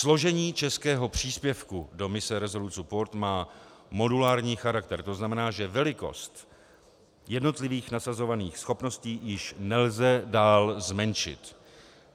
Složení českého příspěvku do mise Resolute Support má modulární charakter, to znamená, že velikost jednotlivých nasazovaných schopností již nelze dál zmenšit.